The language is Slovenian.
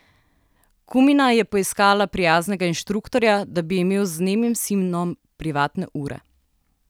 Kumina je poiskala prijaznega inštruktorja, da bi imel z nemim sinom privatne ure.